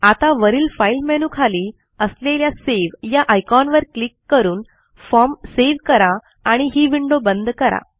आता वरील Fileमेनू खाली असलेल्या सावे या आयकॉनवर क्लिक करून फॉर्म सेव्ह करा आणि ही विंडो बंद करा